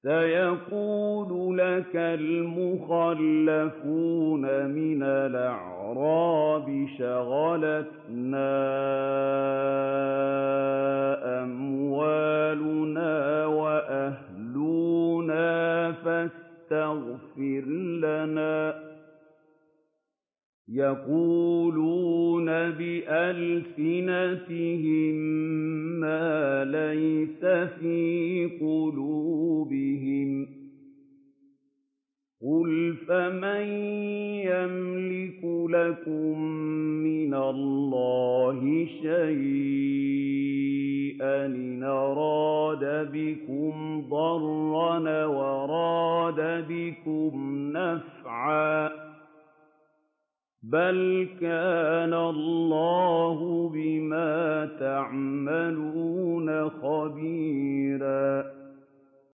سَيَقُولُ لَكَ الْمُخَلَّفُونَ مِنَ الْأَعْرَابِ شَغَلَتْنَا أَمْوَالُنَا وَأَهْلُونَا فَاسْتَغْفِرْ لَنَا ۚ يَقُولُونَ بِأَلْسِنَتِهِم مَّا لَيْسَ فِي قُلُوبِهِمْ ۚ قُلْ فَمَن يَمْلِكُ لَكُم مِّنَ اللَّهِ شَيْئًا إِنْ أَرَادَ بِكُمْ ضَرًّا أَوْ أَرَادَ بِكُمْ نَفْعًا ۚ بَلْ كَانَ اللَّهُ بِمَا تَعْمَلُونَ خَبِيرًا